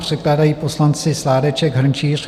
Předkládají poslanci Sládeček, Hrnčíř.